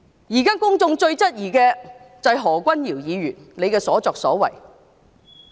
現時公眾最質疑的，就是何君堯議員的所作所為。